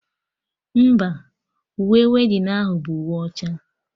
Mba, uwe weddinụ ahụ bụ uwe ọcha